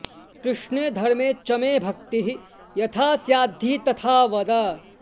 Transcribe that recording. कृष्णे धर्मे च मे भक्तिः यथास्याद्धि तथा वद